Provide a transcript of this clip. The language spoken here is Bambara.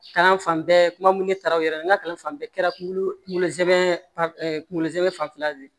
Kalan fan bɛɛ kuma mun ne taara u yɛrɛ n ka kalan fan bɛɛ kɛra kunkolo kunkolo zɛ kunkolo zɛmɛ fanfɛla de ye